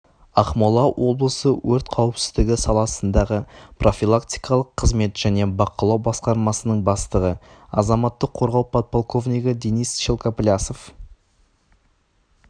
ақмола облысы өрт қауіпсіздігі саласындағы профилактикалық қызмет және бақылау басқармасының бастығы азаматтық қорғау подполковнигі денис шелкоплясов